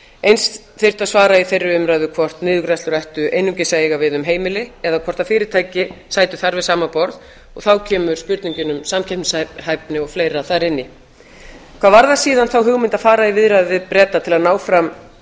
eins þyrfti að svara í þeirri umræðu hvort niðurgreiðslur ættu einungis að eiga við um heimili eða hvort fyrirtæki sætu þar við sama borð og þá kemur spurningin um samkeppnishæfni og fleira þar inn í hvað varðar síðan þá hugmynd að fara í viðræður við